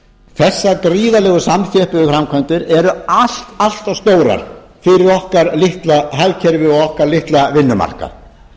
þessar gríðarlegu samþjöppuðu framkvæmdir eru allt of stórar fyrir okkar litla hagkerfi og okkar litla vinnumarkað